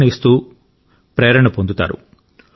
ప్రేరణ ఇస్తూ ప్రేరణ పొందుతారు